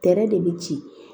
Tɛrɛ de bɛ ci